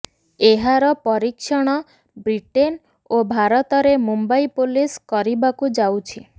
ଏହାର ପରୀକ୍ଷଣ ବ୍ରିଟେନ ଓ ଭାରତରେ ମୁମ୍ବାଇ ପୋଲିସ କରିବାକୁ ଯାଉଛି